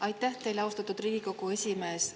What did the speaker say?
Aitäh teile, austatud Riigikogu esimees!